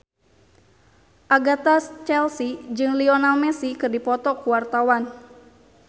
Agatha Chelsea jeung Lionel Messi keur dipoto ku wartawan